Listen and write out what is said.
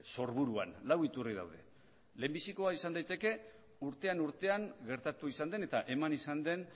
sorburuan lau iturri daude lehenbizikoa izan daiteke urtean urtean gertatu izan den eta eman izan den